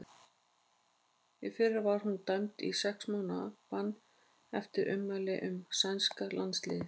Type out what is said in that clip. Í fyrra var hún dæmd í sex mánaða bann eftir ummæli um sænska landsliðið.